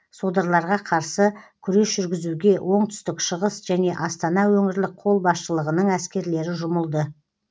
содырларға қарсы күрес жүргізуге оңтүстік шығыс және астана өңірлік қолбасшылығының әскерлері жұмылды